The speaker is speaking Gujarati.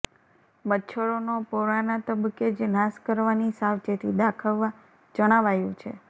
મચ્છરોનો પોરાના તબક્કે જ નાશ કરવાની સાવચેતી દાખવવા જણાવાયુ છે